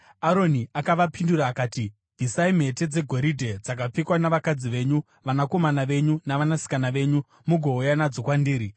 Aroni akavapindura akati, “Bvisai mhete dzegoridhe dzakapfekwa navakadzi venyu, vanakomana venyu navanasikana venyu mugouya nadzo kwandiri.”